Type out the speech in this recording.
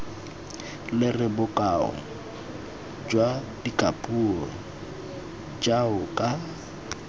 lere bokao jwa dikapuo jaoka